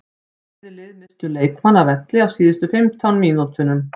Bæði lið misstu leikmann af velli á síðustu fimmtán mínútunum.